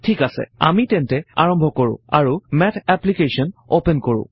ঠিক আছে আমি তেন্তে আৰম্ভ কৰোঁ আৰু মেথ এপ্লিকেশ্বন অপেন কৰোঁ